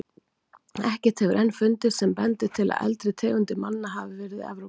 Ekkert hefur enn fundist sem bendir til að eldri tegundir manna hafi verið í Evrópu.